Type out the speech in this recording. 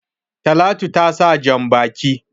Talatu ta sa jan-baki.